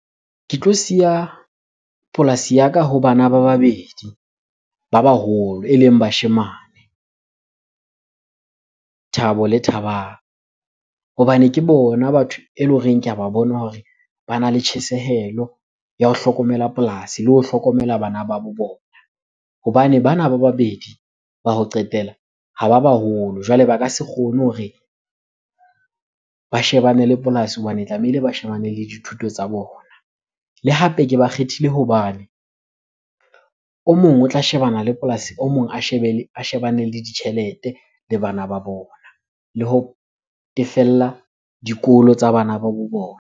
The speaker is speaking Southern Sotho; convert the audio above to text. Ke tlo siya polasi ya ka ho bana ba babedi ba baholo eleng bashemane, Thabo le Thabang. Hobane ke bona batho ele horeng ke a ba bona hore bana le tjhesehelo ya ho hlokomela polasi le ho hlokomela bana ba bo bona. Hobane bana ba babedi ba ho qetela ha ba baholo, jwale ba ka se kgone hore ba shebane le polasi hobane tlamehile ba shebane le dithuto tsa bona. Le hape ke ba kgethile hobane o mong o tla shebana le polasi, o mong a shebane le ditjhelete le bana ba bona. Le ho tefella dikolo tsa bana ba bo bona.